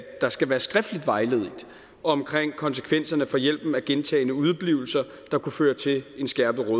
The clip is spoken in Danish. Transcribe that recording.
der skal være skriftligt vejledet omkring konsekvenserne for hjælpen af gentagne udeblivelser der kunne føre til en skærpet